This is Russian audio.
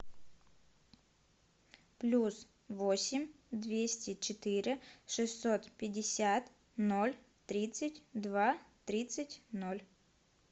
плюс восемь двести четыре шестьсот пятьдесят ноль тридцать два тридцать ноль